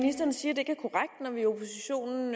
sige